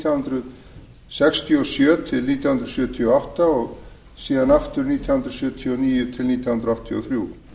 hundruð sextíu og sjö til nítján hundruð sjötíu og átta og nítján hundruð sjötíu og níu til nítján hundruð áttatíu og þrjú